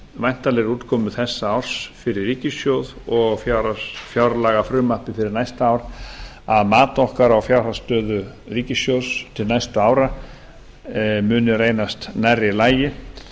væntanlegri útkomu þessa árs fyrir ríkissjóð og fjárlagafrumvarpi fyrir næsta ár að mat okkar á fjárhagsstöðu ríkissjóðs til næstu ári muni reynast nærri lagi